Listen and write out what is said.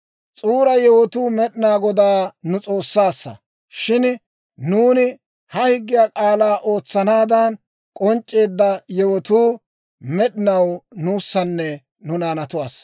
«S'uura yewotuu Med'inaa Godaa nu S'oossaassa; shin nuuni ha higgiyaa k'aalaa ootsanaadan, k'onc'c'eedda yewotuu med'inaw nuussanne nu naanatuwaassa.